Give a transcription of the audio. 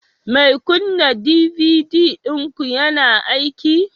Mai kunna DVD ɗinku yana aiki